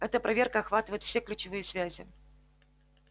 эта проверка охватывает все ключевые связи